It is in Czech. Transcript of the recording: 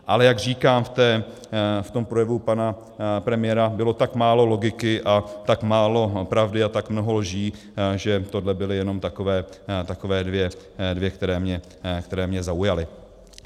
Ale jak říkám, v tom projevu pana premiéra bylo tak málo logiky a tak málo pravdy a tak mnoho lží, že tohle byly jenom takové dvě, které mě zaujaly.